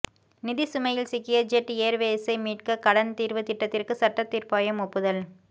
நிதி சுமையில் சிக்கிய ஜெட் ஏர்வேசை மீட்க கடன் தீர்வு திட்டத்திற்கு சட்ட தீர்ப்பாயம் ஒப்புதல்